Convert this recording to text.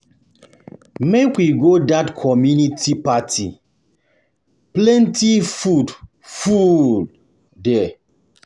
Make we go dat community party, plenty food full for food full for there.